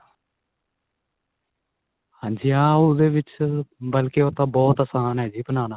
ਹਾਂਜੀ ਹਾਂ ਉਹਦੇ ਵਿੱਚ ਬਲਕੀ ਉਹ ਤਾਂ ਬਹੁਤ ਆਸਾਨ ਏ ਜੀ ਬਨਾਣਾ